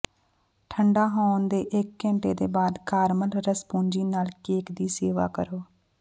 ਠੰਢਾ ਹੋਣ ਦੇ ਇਕ ਘੰਟੇ ਦੇ ਬਾਅਦ ਕਾਰਮਲ ਰਸਭੁਜੀ ਨਾਲ ਕੇਕ ਦੀ ਸੇਵਾ ਕਰੋ